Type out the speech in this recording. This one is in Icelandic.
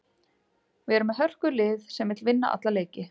Við erum með hörkulið sem vill vinna alla leiki.